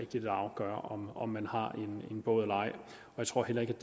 det vil afgøre om man har en båd eller ej jeg tror heller ikke